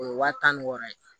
O ye wa tan ni wɔɔrɔ ye